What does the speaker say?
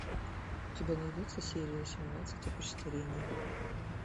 у тебя найдется серия семнадцать опочтарение